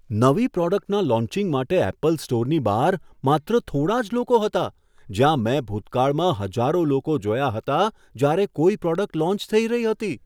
નવી પ્રોડક્ટના લોન્ચિંગ માટે એપલ સ્ટોરની બહાર માત્ર થોડા જ લોકો હતા જ્યાં મેં ભૂતકાળમાં હજારો લોકો જોયા હતા, જ્યારે કોઈ પ્રોડક્ટ લોન્ચ થઈ રહી હતી.